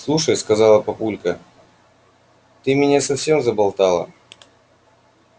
слушай сказала папулька ты меня совсем заболтала